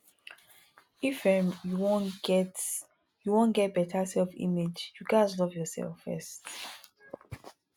if um you wan get you wan get beta self image you ghas love yourself first